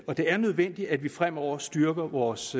det er nødvendigt at vi fremover styrker vores